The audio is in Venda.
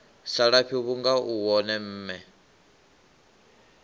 salafhi vhunga u wone mme